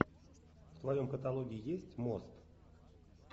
в твоем каталоге есть мост